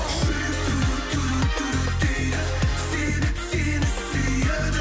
жүрек дейді себеп сені сүйеді